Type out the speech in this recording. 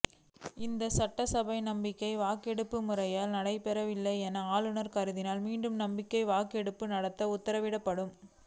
இதில் சட்டசபையில் நம்பிக்கை வாக்கெடுப்பு முறையாக நடைபெறவில்லை என ஆளுநர் கருதினால் மீண்டும் நம்பிக்கை வாக்கெடுப்பு நடத்த உத்தரவிடப்படும்